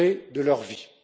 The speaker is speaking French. de leur vie.